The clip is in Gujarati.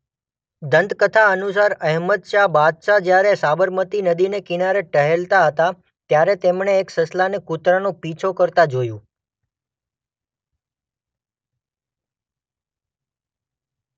દંતકથા અનુસાર અહેમદશાહ બાદશાહ જ્યારે સાબરમતી નદીને કિનારે ટહેલતા હતા ત્યારે તેમણે એક સસલાંને કૂતરાનો પીછો કરતા જોયું.